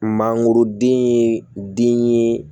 Mangoroden